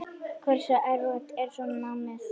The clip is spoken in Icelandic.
Hversu erfitt er svo námið?